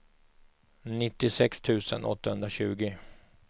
nittiosex tusen åttahundratjugo